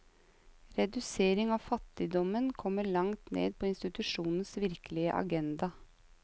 Redusering av fattigdommen kommer langt ned på institusjonens virkelige agenda.